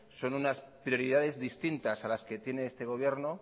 son unas prioridades distintas a las que tiene este gobierno